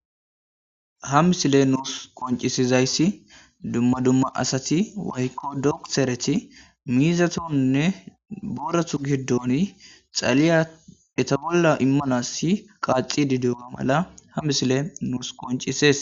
Ha misile nuus qoncisizayssi dumma dumma asati waykko doktereti miizatonne boorathu giddoni xaliya eta bolla immanasi qaaci didema mala ha misile nuus qoncises